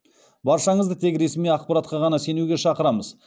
баршаңызды тек ресми ақпаратқа ғана сенуге шақырамыз